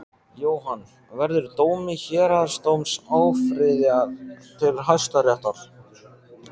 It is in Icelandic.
Jóhann: Verður dómi héraðsdóms áfrýjað til Hæstaréttar?